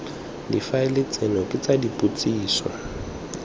difaele tseno ke tsa dipotsiso